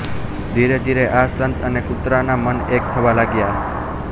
ધીરે ધીરે આ સંત અને કુતરાનાં મન એક થવા લાગ્યાં